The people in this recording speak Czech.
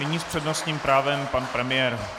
Nyní s přednostním právem pan premiér.